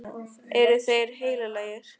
Eru þeir heilagir?